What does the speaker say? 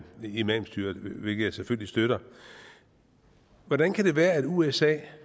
imamstyret hvilket jeg selvfølgelig støtter hvordan kan det være at usa